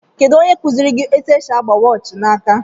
Kedụ ónyé kuziri gị etu esị agba waachi na áká.